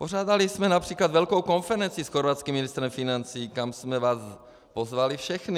Pořádali jsme například velkou konferenci s chorvatským ministrem financí, kam jsme vás pozvali všechny.